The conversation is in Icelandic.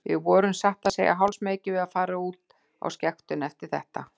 Við vorum satt að segja hálfsmeykir við að fara út á skektunni eftir þetta.